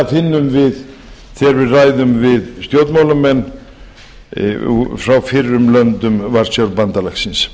finnum við þegar við ræðum við stjórnmálamenn frá fyrrum löndum varsjárbandalagsins